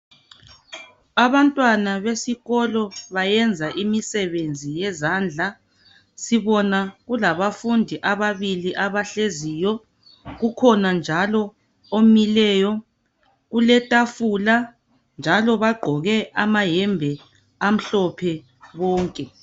Abantwana besikolo bayenza imisebenzi yezandla. Sibona kulabafundi ababili abahleziyo, kukhona njalo omileyo. Uletafula njalo bagqoke amayembe amhlophe bonke.